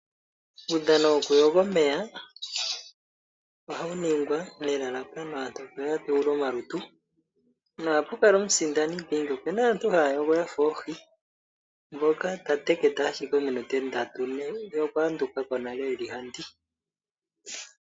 Uudhano wokuyoga omeya ohawu ningwa nelalakano aantu ya dhewule omalutu. Ohapu kala omusindani dhingi, opuna aantu yamwe haya yogo yafa oohi mominute ndatu ne ye okwayandukako nale eli ha ndii.